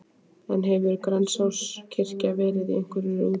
En hefur Grensáskirkja verið í einhverri útrás?